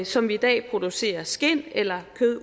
som vi i dag producerer skind eller kød af